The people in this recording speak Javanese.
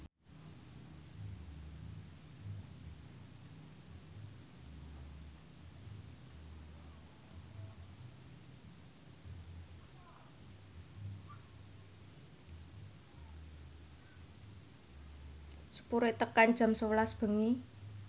sepure teka jam sewelas bengi